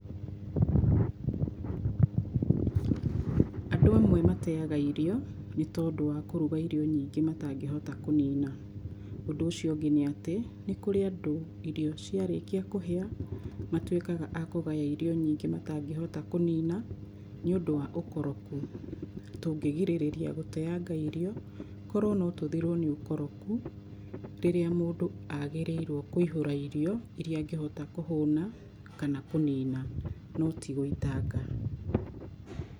Andũ amwe mateyaga irio nĩ tondũ wa kũruga irio nyingĩ matangĩhota kũnina. Ũndũ ũcio ũngĩ, nĩ atĩ nĩ kũrĩ andũ irio ciarĩkia kũhĩa matuĩkaga a kũgaya irio nyingĩ matangĩhota kũnina nĩũndũ wa ũkoroku. Tũngĩgirĩrĩria gũteanga irio korwo no tũthirwo nĩ ũkoroku rĩrĩa mũndũ agĩrĩirwo kũihũra irio iria angĩhota kũhũna, kana kũnina no ti gũitanga.